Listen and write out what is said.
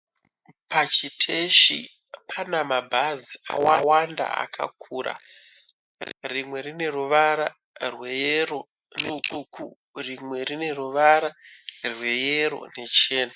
Pachiteshi pana mabhazi akawanda akakura rimwe rine ruvara rweyero ,rimwe rine ruvara rweyero nechena.